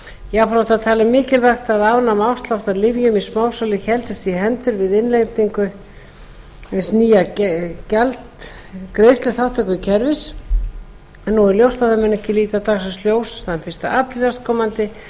jafnframt var talið mikilvægt að afnema afslátt af lyfjum í smásölu héldist í hendur við innleiðingu hins nýja greiðsluþátttökukerfis nú er ljóst að það mun ekki líta dagsins ljós þann fyrsta apríl næstkomandi